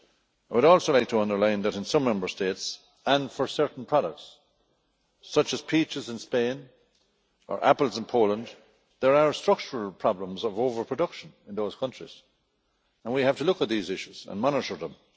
I would also like to underline that in some Member States, and for certain products, such as peaches in Spain, or apples in Poland, there are structural problems of over production in those countries, and we have to look at these issues and monitor them.